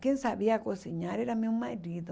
Quem sabia cozinhar era meu marido.